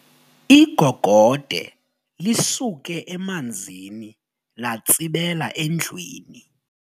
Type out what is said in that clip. Igogode lisuke emanzini latsibela endlwini.